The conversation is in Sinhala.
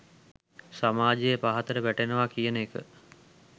සමාජය පහතට වැටෙනවා කියන එක.